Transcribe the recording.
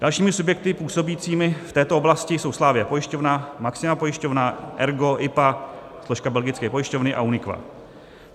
Dalšími subjekty působícími v této oblasti jsou Slavie pojišťovna, Maxima pojišťovna, Ergo, IPA - složka belgické pojišťovny - a UNIQA.